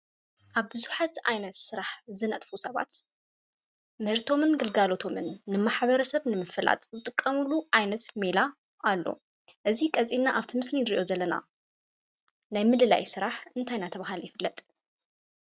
አብ ቡዛሓት ዓይነት ስራሕ ዝነጥፉ ሰባት፣ ምህርቶምን ግልጋሎቶምን ንማሕበረሰብ ንምፍላጥ ዝጥቐምሉ ዓይነት ሜላ አሎ። እዚ ቀፂልና አብቲ ምስሊ እንሪኦ ናይ ምልላይ ስራሕ እንታይ እናተባህለ ይፍለጥ?